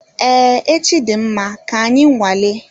Ee echi dị mma, ka anyị nwale